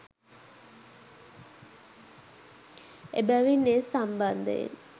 එබැවින් ඒ සම්බන්ධයෙන්